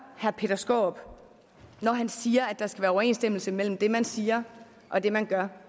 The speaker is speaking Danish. herre peter skaarup siger at der skal være overensstemmelse mellem det man siger og det man gør